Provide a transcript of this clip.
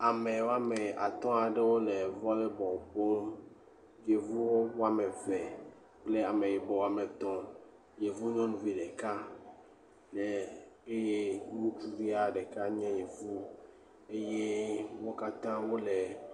Ame woame atɔ aɖewo le volley bɔl ƒom, yevu woame eve kple ame yibɔ woame etɔ, yevi nyɔnuvi ɖeka eh eh eye ŋutsuvia ɖeka nye yevu eye wo kata wole.